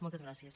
moltes gràcies